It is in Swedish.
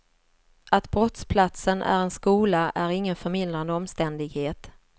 Att brottsplatsen är en skola är ingen förmildrande omständighet.